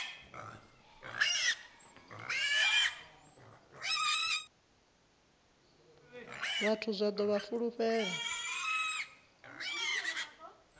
vhathu zwa ḓo vha fulufhela